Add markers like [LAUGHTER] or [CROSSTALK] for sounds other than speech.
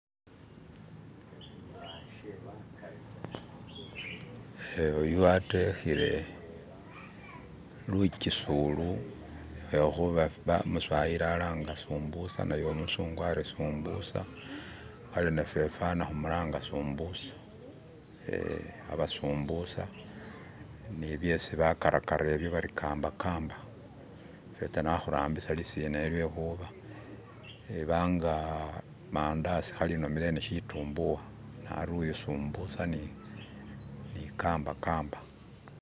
[SKIP] eyu watwihile luchisulu yehuba umuswayili alanga sumbusa ne umusungu ali sumbusa abe nafe humulanga huri sumbusa ye aba sumbusa nibyesi bakarakara ebyo bari kambakamba fesi hahurambisa lisinalyo lwehuba ebanga mandasi hali nomele ndi shitumbuwa nari yu sumbusa ni kambakamba